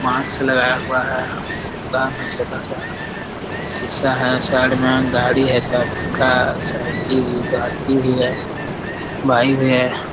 Mask लगाया हुआ है दुकान है छोटा-सा शीशा है साइड मे गाड़ी है चार चक्का साइकिल बाल्टी भी है बाइक भी है।